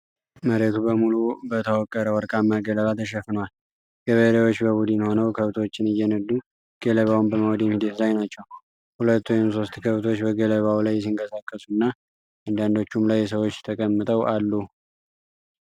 መሬቱ በሙሉ በተወቀረ ወርቃማ ገለባ ተሸፍኗል። ገበሬዎች በቡድን ሆነው ከብቶችን እየነዱ ገለባውን በማውደም ሂደት ላይ ናቸው። ሁለት ወይም ሦስት ከብቶች በገለባው ላይ ሲንቀሳቀሱ እና አንዳንዶቹም ላይ ሰዎች ተቀምጠው አሉ፡፡